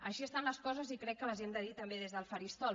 així estan les coses i crec que les hem de dir també des del faristol